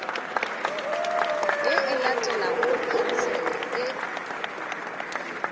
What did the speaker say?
ye e latelago khansele e